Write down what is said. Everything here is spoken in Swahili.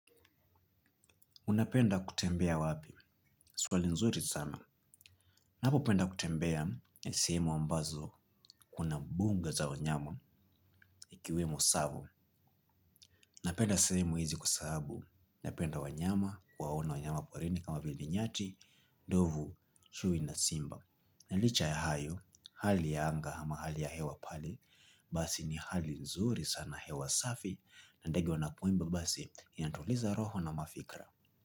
Unapenda kutembea wapi? Swali nzuri sana. Napo penda kutembea na sehemu ambazo kuna mbunga za wanyama ikiwemo tsavo. Napenda sehemu hizi kwa sahabu napenda wanyama waone wanyama porini kama vili nyati, ndovu, chuwi na simba. Na licha ya hayo, hali ya anga ama hali ya hewa pale, basi ni hali nzuri sana hewa safi na ndege wanapoimba basi inatuliza roho na mafikra.